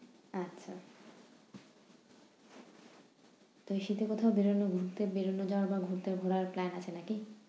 আচ্ছা! তো শীতে কোথাও বেরুনোর ঘুরতে বেরুনো ঘুরতে যাওয়ার plan আছে নাকি?